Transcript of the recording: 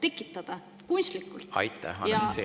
Aitäh, Anastassia!